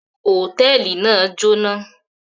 Hòtẹ́ẹ́lì náà jóná.